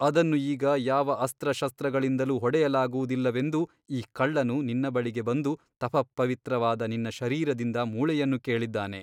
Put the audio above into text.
ಅದನ್ನು ಈಗ ಯಾವ ಅಸ್ತ್ರಶಸ್ತ್ರಗಳಿಂದಲೂ ಹೊಡೆಯಲಾಗುವುದಿಲ್ಲವೆಂದು ಈ ಕಳ್ಳನು ನಿನ್ನ ಬಳಿಗೆ ಬಂದು ತಪಃಪವಿತ್ರವಾದ ನಿನ್ನ ಶರೀರದಿಂದ ಮೂಳೆಯನ್ನು ಕೇಳಿದ್ದಾನೆ.